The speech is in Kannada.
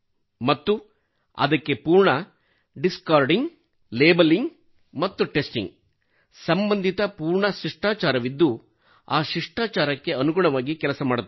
ಮತ್ತು ಅದಕ್ಕೆ ಪೂರ್ಣ ಡಿಸ್ಕಾರ್ಡಿಂಗ್ ಲ್ಯಾಬೆಲಿಂಗ್ ಮತ್ತು ಟೆಸ್ಟಿಂಗ್ ಸಂಬಂಧಿತ ಪೂರ್ಣ ಶಿಷ್ಟಾಚಾರವಿದ್ದು ಆ ಶಿಷ್ಟಾಚಾರಕ್ಕೆ ಅನುಗುಣವಾಗಿ ಕೆಲಸ ಮಾಡುತ್ತೇವೆ